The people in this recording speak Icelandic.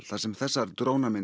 þar sem þessar